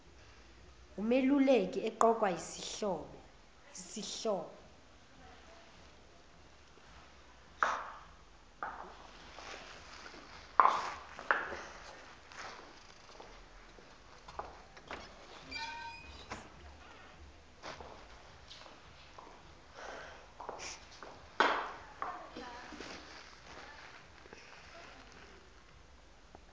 wumeluleki eqokwa yisihlobo